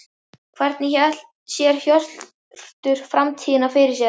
Hvernig sér Hjörtur framtíðina fyrir sér?